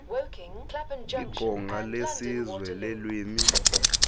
iqonga lesizwe leelwimi